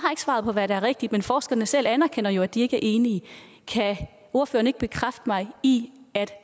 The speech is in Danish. svaret på hvad der er rigtigt men forskerne selv anerkender jo at de ikke er enige kan ordføreren ikke bekræfte mig i at